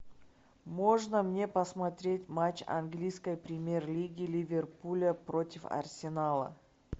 можно мне посмотреть матч английской премьер лиги ливерпуля против арсенала